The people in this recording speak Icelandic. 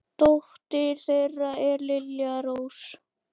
Dóttir þeirra er Lilja Rós.